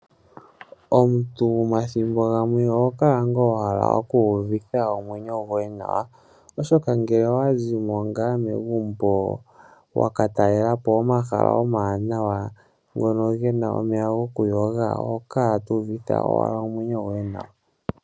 Omuntu omathimbo gamwe oho kala ngaa wa hala okuuvitha omwenyo goye nawa oshoka ngele owa zi mo ngaa megumbo wakatalela po omahala omawanawa ngoka gena omahala gokuyoga oho kala tuuvitha owala omwenyo goye nawa.